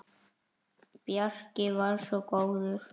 Bjarki var svo góður.